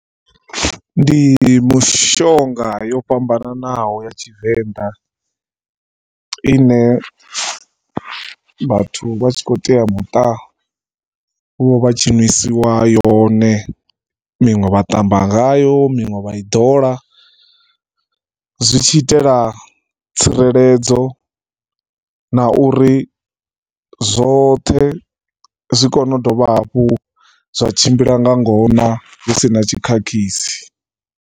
Ndi mishonga yo fhambanaho ya Tshivenḓa i ne vhathu vha tshi khou teamuṱa vho vha vha tshi ṅwisiwa yone, miṅwe vha ṱamba ngayo, miṅwe vha i ḓola. Zwi tshi itela tsireledzo na uri zwoṱhe zwi kone u dovha hafhu zwa tshimbila nga ngona hu si na tshikhakhisi.